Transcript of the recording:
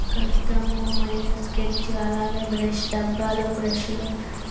ఇక్కడ గమ్ము మరియు స్కెచు అలాగే బ్రష్ డబ్బాలు బ్రష్ లు